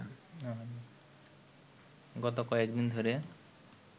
গত কয়েক দিন ধরে